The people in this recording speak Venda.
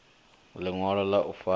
ḽiṅwalo ḽa u fara ḓi